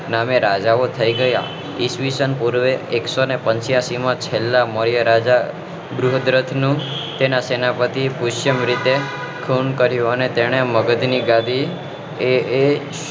નામે રાજાઓ થઇ ગયા ઈસ્વીસન પૂર્વે એક્વીસો ને પંચ્યાસી માં છેલ્લા મૌર્ય રાજા બૃહદ્રષ્ટ નું તેના સેનાપતિ પુષ્પ ની જેમ રીતે ખૂન કર્યું અને તેને મગધ ની ગાદી એ એ